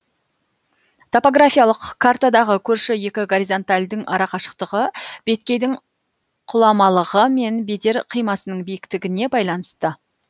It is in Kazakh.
топографиялық картадағы көрші екі горизонтальдың арақашықтығы беткейдің құламалығы мен бедер қимасының биіктігіне байланысты